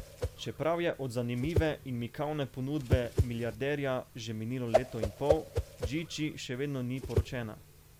Čeprav je od zanimive in mikavne ponudbe milijarderja že minilo leto in pol, Džidži še vedno ni poročena.